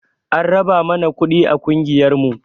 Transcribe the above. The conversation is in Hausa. An raba mana kuɗi a ƙungiyar mu